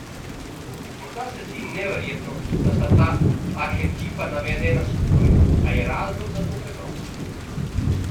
Morda se zdi neverjetno, da sta ta arhetipa navedena skupaj, a je razlog za to preprost.